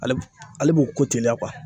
Ale b ale b'o ko teliya kuwa